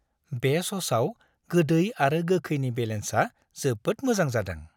बे स'सआव गोदै आरो गोखैनि बेलेन्सआ जोबोद मोजां जादों।